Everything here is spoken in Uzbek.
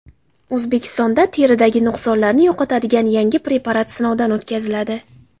O‘zbekistonda teridagi nuqsonlarni yo‘qotadigan yangi preparat sinovdan o‘tkaziladi.